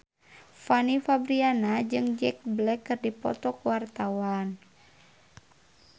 Fanny Fabriana jeung Jack Black keur dipoto ku wartawan